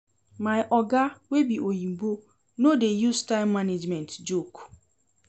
My oga wey be oyimbo no dey use time management joke.